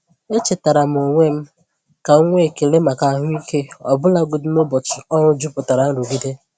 Echetaara m onwe m ka m nwee ekele maka ahụike ọbụlagodi n’ụbọchị ọrụ jupụtara nrụgide.